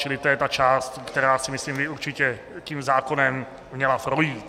Čili to je ta část, která si myslím by určitě tím zákonem měla projít.